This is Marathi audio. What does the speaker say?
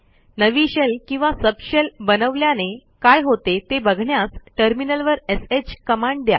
नवी शेल किंवा सबशेल बनवल्याने काय होते ते बघण्यास टर्मिनलवर श कमांड द्या